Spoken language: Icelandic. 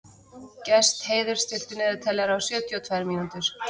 Gestheiður, stilltu niðurteljara á sjötíu og tvær mínútur.